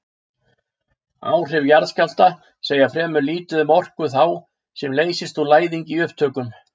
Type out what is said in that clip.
Áhrif jarðskjálfta segja fremur lítið um orku þá sem leysist úr læðingi í upptökum.